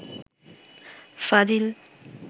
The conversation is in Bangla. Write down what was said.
ফাজিল